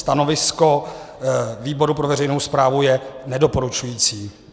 Stanovisko výboru pro veřejnou správu je nedoporučující.